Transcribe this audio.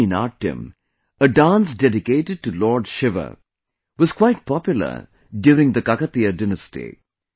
Perini Natyam, a dance dedicated to Lord Shiva, was quite popular during the Kakatiya Dynasty